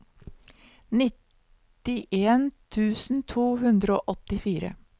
nittien tusen to hundre og åttifire